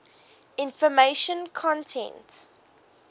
information content